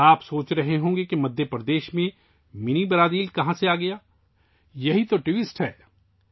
آپ سوچ رہے ہوں گے کہ مدھیہ پردیش میں منی برازیل کہاں سے آیا، ٹھیک ہے، یہی تو ٹوئسٹ ہے